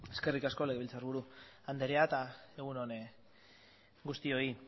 eskerrik asko legebiltzarburu anderea eta egun on guztioi